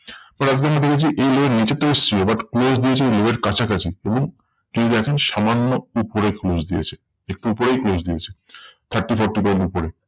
পরে আপনারা দেখেছেন এই level নিচে তো এসেছিলো but close দিয়েছে low এর কাছাকাছি। এবং কেউ দেখেন সামান্য উপরে close দিয়েছে। একটু উপরেই close দিয়েছে thirty forty point উপরে।